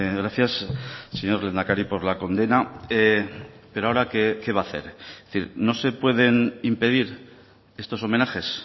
gracias señor lehendakari por la condena pero ahora qué va a hacer es decir no se pueden impedir estos homenajes